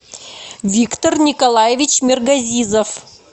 виктор николаевич миргазизов